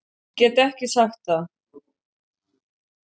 Gat ekki sagt það.